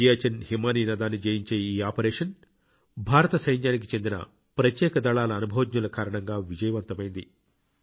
సియాచిన్ హిమానీనదాన్ని జయించే ఈ ఆపరేషన్ భారత సైన్యానికి చెందిన ప్రత్యేక దళాల అనుభవజ్ఞుల కారణంగా విజయవంతమైంది